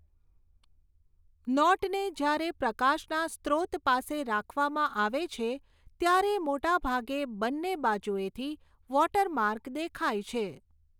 નોટને જ્યારે પ્રકાશના સ્રોત પાસે રાખવામાં આવે છે ત્યારે મોટેભાગે બંને બાજુએથી વૉટરમાર્ક દેખાય છે.